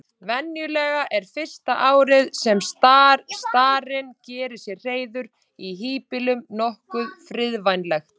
Venjulega er fyrsta árið sem starinn gerir sér hreiður í híbýlum nokkuð friðvænlegt.